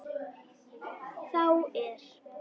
þá er